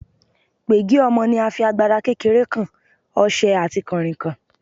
Pègé ọmọ ni a fi, agbada kékeré kan, ọṣẹ àti kànrìnkàn.